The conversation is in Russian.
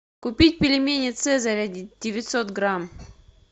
купить пельмени цезарь девятьсот грамм